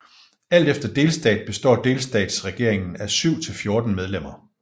Alt efter delstat består delstatsregeringen af 7 til 14 medlemmer